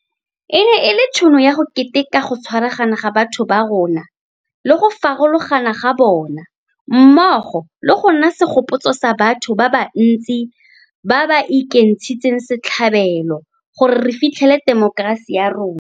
E ne e le tšhono ya go keteka go tshwaragana ga batho ba rona le go farologana ga bona, mmogo le go nna segopotso sa batho ba ba ntsi ba ba ekentshitseng setlhabelo gore re fitlhelele temokerasi ya rona.